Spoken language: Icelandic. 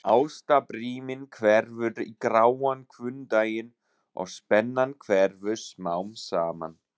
Ástarbríminn hverfur í gráan hvunndaginn og spennan hverfur smám saman.